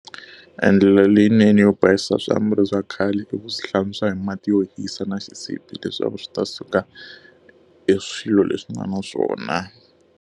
E ndlela leyinene yo basisa swiambalo swa khale i ku swi hlantswa hi mati yo hisa na xisibi leswaku swi ta suka e swilo leswi nga na swona.